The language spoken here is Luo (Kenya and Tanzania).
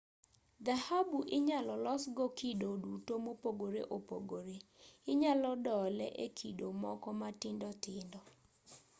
dhahabu inyalo losgo kido duto mopogore opogore inyalo dole e kido moko matindo tindo